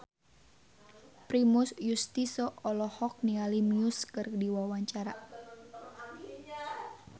Primus Yustisio olohok ningali Muse keur diwawancara